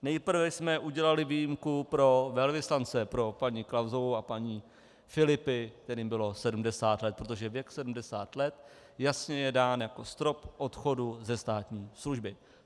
Nejprve jsme udělali výjimku pro velvyslance, pro paní Klausovou a paní Filipi, kterým bylo 70 let, protože věk 70 let je jasně dán jako strop odchodu ze státní služby.